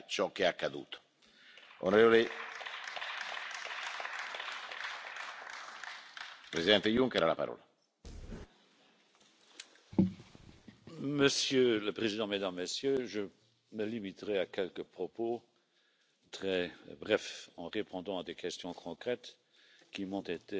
It was already discussed at the European Council in June and it will be a main topic for the discussions at the informal Heads of State or Government summit in Salzburg. Yes, the strengthening of Frontex is, in our view, a precondition to establishing a resilient and well-grounded